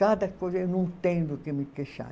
Cada coisa eu não tenho do que me queixar.